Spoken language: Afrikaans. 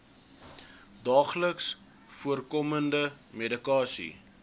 daagliks voorkomende medikasie